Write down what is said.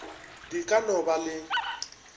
di ka no ba le